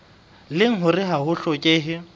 leng hore ha ho hlokehe